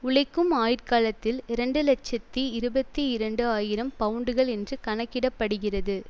உழைக்கும் ஆயுட்காலத்தில் இரண்டு இலட்சத்தி இருபத்தி இரண்டு ஆயிரம் பவுண்டுகள் என்று கணக்கிடப்படுகிறது